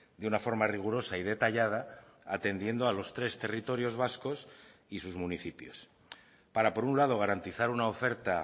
de una forma rigurosa y detallada atendiendo a los tres territorios vascos y sus municipios para por un lado garantizar una oferta